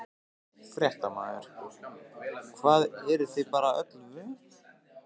Fréttamaður: Hvað, eruð þið bara öllu vön?